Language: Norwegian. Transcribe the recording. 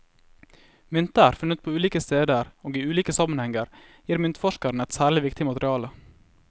Mynter funnet på ulike steder og i ulike sammenhenger gir myntforskeren et særlig viktig materiale.